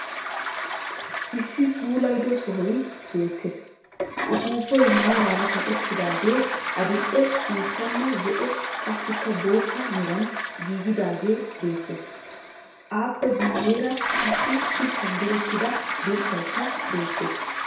Issi puulayido sohoy beettes. Upuupay maaraara kaqettidaagee adil'ee ciishshanne zo'o qassikka bootta meran giigidaagee beettes. Aappe guyyeera qassi shuchchan direttida dirssayikka beettes.